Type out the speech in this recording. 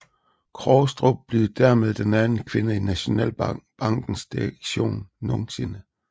Krogstrup blev dermed den anden kvinde i Nationalbankens direktion nogensinde